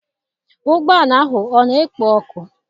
Ụgbọ ala ahụ ọ na-ekpo ọkụ?